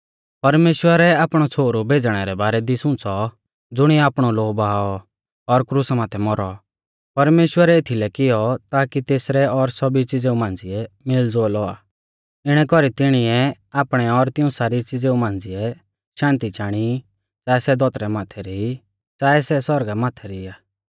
परमेश्‍वरै आपणौ छ़ोहरु भेज़णै रै बारै दी सुंच़ौ ज़ुणीऐ आपणौ लोऊ बहाऔ और क्रुसा माथै मौरौ परमेश्‍वरै एथीलै कियौ ताकी तेसरै और सौभी च़िज़ेऊ मांझ़िऐ मेलज़ोल औआ इणै कौरी तिणीऐ आपणै और तिऊं सारी च़िज़ेऊ मांझ़िऐ शान्ति चाणी च़ाऐ सै धौतरी माथै री ई च़ाऐ सै सौरगा माथै री आ